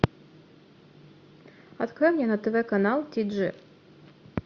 открой мне на тв канал ти джи